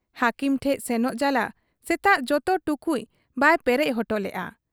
ᱦᱟᱹᱠᱤᱢ ᱴᱷᱮᱫ ᱥᱮᱱᱚᱜ ᱡᱟᱞᱟ ᱥᱮᱛᱟᱜ ᱡᱚᱛᱚ ᱴᱩᱠᱩᱡ ᱵᱟᱭ ᱯᱮᱨᱮᱡ ᱚᱴᱚ ᱞᱮᱜ ᱟ ᱾